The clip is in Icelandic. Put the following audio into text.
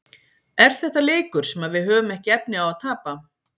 Er þetta leikur sem að við höfum ekki efni á að tapa?